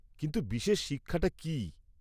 -কিন্তু, বিশেষ শিক্ষাটা কী?